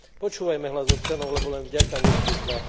Počúvajme hlas občanov, lebo len vďaka nim tu sme.